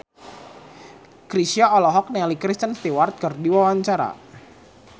Chrisye olohok ningali Kristen Stewart keur diwawancara